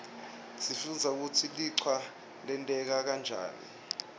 sifundza kutsi lichwa lenteka njani